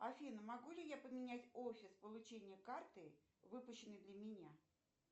афина могу ли я поменять офис получения карты выпущенной для меня